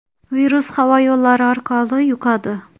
Virus havo yo‘llari orqali yuqadi.